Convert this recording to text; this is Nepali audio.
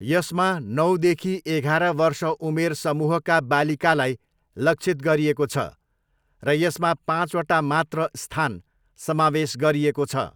यसमा नौदेखि एघार वर्ष उमेर समूहका बालिकालाई लक्षित गरिएको छ र यसमा पाँचवटा मात्र स्थान समावेश गरिएको छ।